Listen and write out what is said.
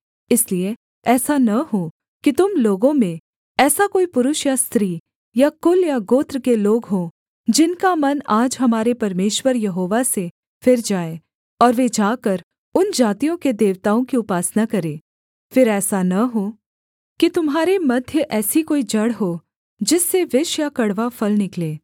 इसलिए ऐसा न हो कि तुम लोगों में ऐसा कोई पुरुष या स्त्री या कुल या गोत्र के लोग हों जिनका मन आज हमारे परमेश्वर यहोवा से फिर जाए और वे जाकर उन जातियों के देवताओं की उपासना करें फिर ऐसा न हो कि तुम्हारे मध्य ऐसी कोई जड़ हो जिससे विष या कड़वा फल निकले